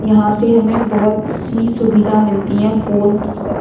यहाँ से हमें बहुत सी सुविधा मिलती है फोन की तरह --